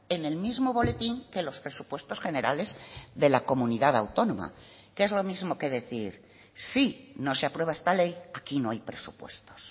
en el mismo boletín que los presupuestos generales de la comunidad autónoma que es lo mismo que decir si no se aprueba esta ley aquí no hay presupuestos